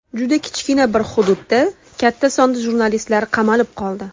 Juda kichkina bir hududda katta sonda jurnalistlar qamalib qoldi.